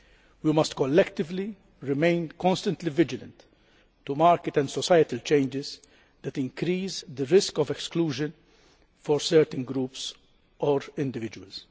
We must collectively remain constantly vigilant to market and societal changes that increase the risk of exclusion for certain groups or individuals.